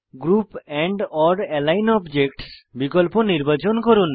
group andওর align objects বিকল্প নির্বাচন করুন